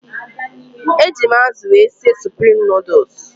Eji m azụ wee sie suprim nuduls.